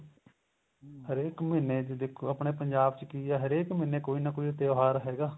ਹਰੇਕ ਮਹੀਨੇ ਚ ਦੇਖੋ ਆਪਣੇ ਪੰਜਾਬ ਚ ਕੀ ਏ ਹਰੇਕ ਮਹੀਨੇ ਕੋਈ ਨਾ ਕੋਈ ਤਿਉਹਾਰ ਹੈਗਾ